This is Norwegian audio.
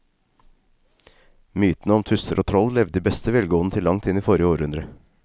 Mytene om tusser og troll levde i beste velgående til langt inn i forrige århundre.